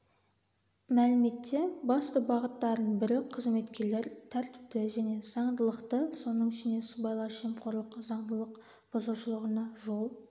мәліметте басты бағыттарының бірі қызметкерлер тәртіпті және заңдылықты соның ішінде сыбайлас жемқорлық заңдылығық бұзушылығына жол